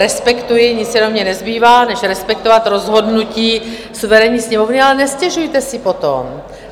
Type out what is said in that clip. Respektuji, nic jiného mně nezbývá než respektovat rozhodnutí suverénní Sněmovny, ale nestěžujte si potom.